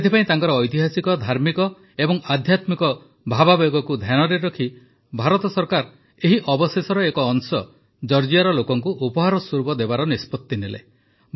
ସେଥିପାଇଁ ତାଙ୍କର ଐତିହାସିକ ଧାର୍ମିକ ଓ ଆଧ୍ୟାତ୍ମିକ ଭାବାବେଗକୁ ଧ୍ୟାନରେ ରଖି ଭାରତ ସରକାର ଏହି ଅବଶେଷର ଏକ ଅଂଶ ଜର୍ଜିଆର ଲୋକଙ୍କୁ ଉପହାର ସ୍ୱରୂପ ଦେବାର ନିଷ୍ପତ୍ତି ନେଲେ